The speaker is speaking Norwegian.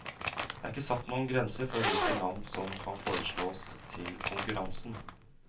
Det er ikke satt noen grense for hvilke navn som kan foreslås til konkurransen.